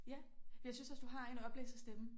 Ja jeg synes også du har en oplæserstemme